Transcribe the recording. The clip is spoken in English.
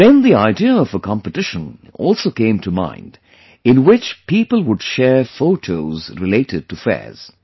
Then the idea of a competition also came to mind in which people would share photos related to fairs